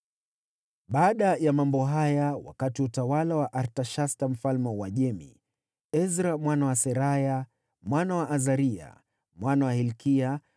Baada ya mambo haya, wakati wa utawala wa Artashasta mfalme wa Uajemi, Ezra mwana wa Seraya, mwana wa Azaria, mwana wa Hilkia,